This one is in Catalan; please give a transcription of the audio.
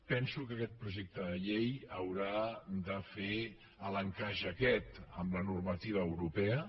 penso que aquest projecte de llei haurà de fer l’encaix aquest amb la normativa europea